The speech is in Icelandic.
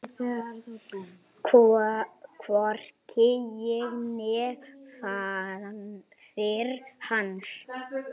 Hvorki ég né faðir hans.